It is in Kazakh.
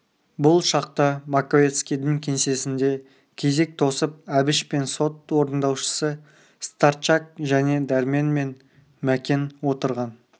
бұл шақта маковецкийдің кеңсесінде кезек тосып әбіш пен сот орындаушысы старчак және дәрмен мен мәкен отырған